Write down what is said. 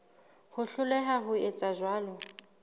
ho hloleha ho etsa jwalo